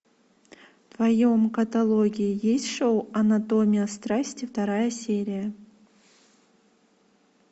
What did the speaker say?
в твоем каталоге есть шоу анатомия страсти вторая серия